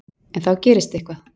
En þá gerist eitthvað.